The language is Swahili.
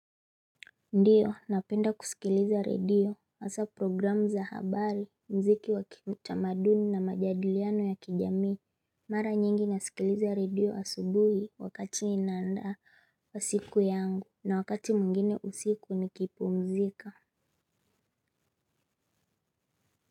Ndiyo, napenda kusikiliza redio, hasa programu za habari, muziki wa kitamaduni na majadiliano ya kijamii. Mara nyingi nasikiliza redio asubuhi wakati ninaandaa siku yangu na wakati mwingine usiku nikipumzika.